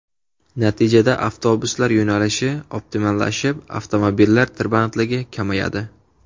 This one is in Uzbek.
Natijada avtobuslar yo‘nalishi optimallashib, avtomobillar tirbandligi kamayadi.